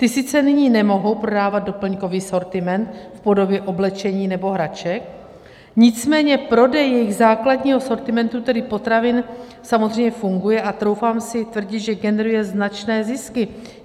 Ty sice nyní nemohou prodávat doplňkový sortiment v podobě oblečení nebo hraček, nicméně prodej jejich základního sortimentu, tedy potravin, samozřejmě funguje a troufám si tvrdit, že generuje značné zisky.